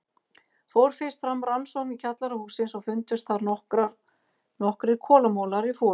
Fór fyrst fram rannsókn í kjallara hússins og fundust þar nokkrir kolamolar í fötu.